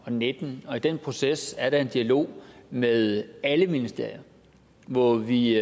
og nitten og i den proces er der en dialog med alle ministerier hvor vi